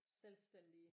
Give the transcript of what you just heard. Selvstændige